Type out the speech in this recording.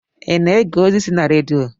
I na-ege ozi si na redio?